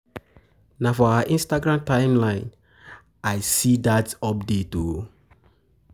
Na for her Instagram timeline I see dat update o.